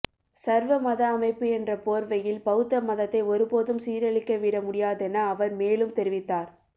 சர்வ மத அமைப்பு என்ற போர்வையில் பௌத்த மதத்தை ஒருபோதும் சீரழிக்க விட முடியாதென அவர் மேலும் தெரிவித்தார்